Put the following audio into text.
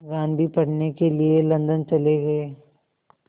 गांधी पढ़ने के लिए लंदन चले गए